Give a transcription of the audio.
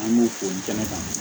An b'u fo kɛnɛ kan